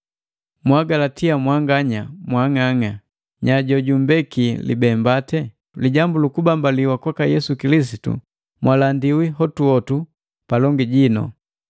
Mwa agalatia mwanganya mmbii mwang'ang'a! Nyaa jojumbeki libembate? Lijambu lu kubambaliwa kwaka Yesu Kilisitu mwalandiwi hotuhotu palongi jinu.